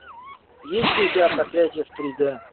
есть ли у тебя проклятие в три д